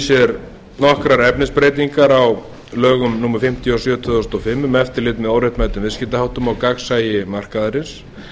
sér nokkrar efnisbreytingar á lögum númer fimmtíu og sjö tvö þúsund og fimm um eftirlit með óréttmætum viðskiptaháttum og gagnsæi markaðarins